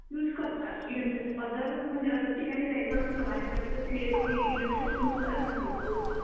use करतात electric मध्ये other म्हणजे अदर ठिकाणी जायचं असलं म्हणजे बाहेरच्या ठिकाणी तर इलेक्ट्रिक युज करत नाहीत लोक